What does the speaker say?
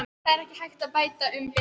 Það er ekki hægt að bæta um betur.